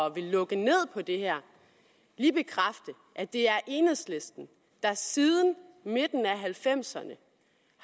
at ville lukke ned for det her lige bekræfte at det er enhedslisten der siden midten af nitten halvfemserne